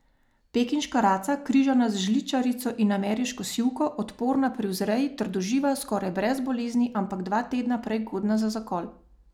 Pekinška raca, križana z žličarico in ameriško sivko, odporna pri vzreji, trdoživa, skoraj brez bolezni, ampak dva tedna prej godna za zakol.